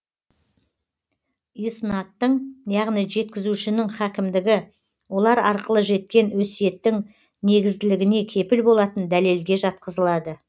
иснадтың яғни жеткізушінің хакімдігі олар арқылы жеткен өсиеттің негізділігіне кепіл болатын дәлелге жатқызылады